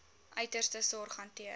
uiterste sorg hanteer